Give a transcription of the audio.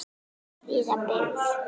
Fríða byggð.